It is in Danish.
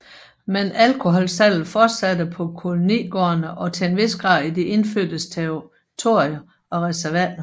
Men alkoholsalget fortsatte på kolonigårdene og til en vis grad i de indfødtes territorier og reservater